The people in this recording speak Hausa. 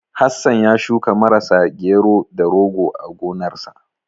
Hassan ya shuka Marasa, Gero, da Rogo a gonarsa.